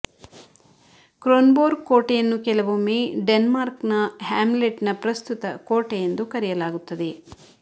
Kronborg ಕೋಟೆ ಯನ್ನು ಕೆಲವೊಮ್ಮೆ ಡೆನ್ಮಾರ್ಕ್ನ ಹ್ಯಾಮ್ಲೆಟ್ನ ಪ್ರಸ್ತುತ ಕೋಟೆ ಎಂದು ಕರೆಯಲಾಗುತ್ತದೆ